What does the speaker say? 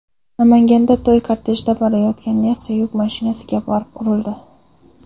Namanganda to‘y kortejida borayotgan Nexia yuk mashinasiga borib urildi.